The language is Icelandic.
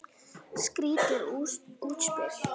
Skrýtið útspil.